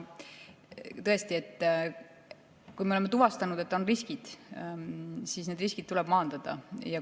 Tõesti, kui me oleme tuvastanud, et on riskid, siis need riskid tuleb maandada.